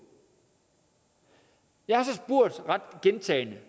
jeg har så gentagne